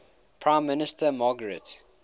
prime minister margaret